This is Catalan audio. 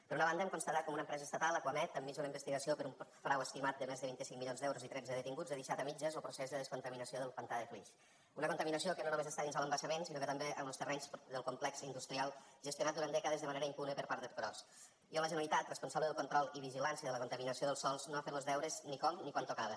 per una banda hem constatat com una empresa estatal acuamed enmig d’una investigació per un frau estimat de més de vint cinc milions d’euros i tretze detinguts ha deixat a mitges lo procés de descontaminació del pantà de flix una contaminació que no només està dins de l’embassament sinó que també en los terrenys del complex industrial gestionat durant dècades de manera impune per part d’ercros i on la generalitat responsable del control i vigilància de la contaminació dels sòls no ha fet los deures ni com ni quan tocava